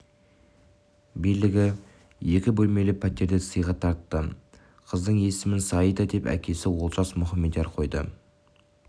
билігі екі бөлмелі пәтерді сыйға тартты қыздың есімін саида деп әкесі олжас мұхамедияр қойды ол